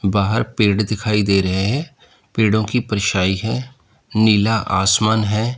बाहर पेड़ दिखाई दे रहे हैं पेड़ों की परछाई है नीला आसमान है।